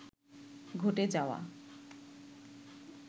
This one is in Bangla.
ঘটে যাওয়া